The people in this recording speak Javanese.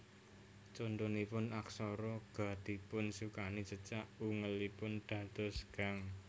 Contonipun aksara ga dipun sukani cecak ungelipun dados gang